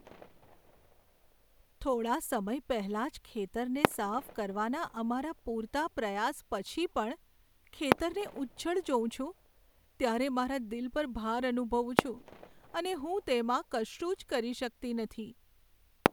થોડા સમય પહેલાં જ ખેતરને સાફ કરવાના અમારા પૂરતા પ્રયાસ પછી પણ ખેતરને ઉજ્જડ જોઉં છું, ત્યારે મારા દિલ પર ભાર અનુભવું છું, અને હું તેમાં કશું જ કરી શકતી નથી.